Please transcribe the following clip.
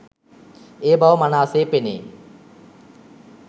ඒ බව මනා සේ පෙනේ.